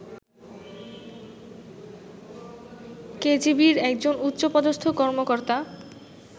কেজিবির একজন উচ্চপদস্থ কর্মকর্তা